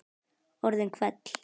Orðin hvell.